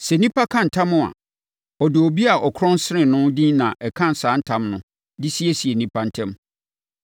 Sɛ onipa ka ntam a, ɔde obi a ɔkorɔn sene no din na ɛka saa ntam no de siesie nnipa ntam.